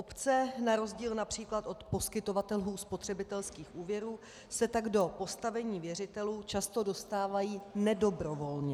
Obce na rozdíl například od poskytovatelů spotřebitelských úvěrů se tak do postavení věřitelů často dostávají nedobrovolně.